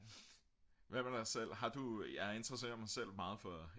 hvad med dig selv har du jeg interesserer mig selv meget for